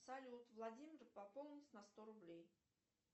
салют владимир пополнить на сто рублей